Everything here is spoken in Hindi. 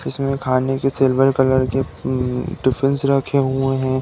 इसमें खाने के सिल्वर कलर के उम्म टीफ्फिंस रखे हुए हैं।